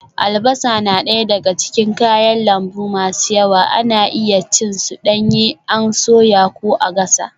Albasa na daya daga cikin kayan lambu masu yawa, ana iya cin su danye an soya ko a gasa.